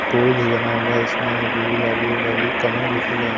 पोल भी बना हुआ इसमें और गुलाबी गुलाबी कमल भी--